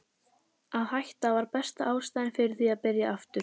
Að hætta var besta ástæðan fyrir því að byrja aftur.